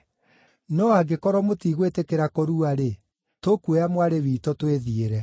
No angĩkorwo mũtigwĩtĩkĩra kũrua-rĩ, tũkuoya mwarĩ witũ twĩthiĩre.”